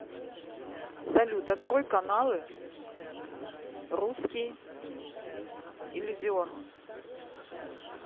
салют открой каналы русский иллюзион